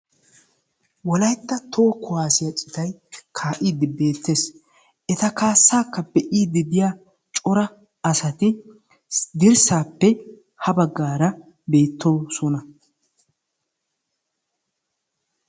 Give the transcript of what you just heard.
Wolaytta toho kuwaasiyaa citay kaa'iidi beettees. eta kaassakka be'iidi diyaa cora asati dirssaappe ha baggaara beettoosona.